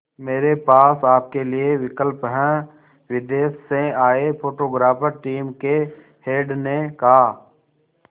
मेरे पास आपके लिए विकल्प है विदेश से आए फोटोग्राफर टीम के हेड ने कहा